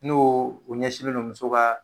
N'o ɲɛsinlen don muso ka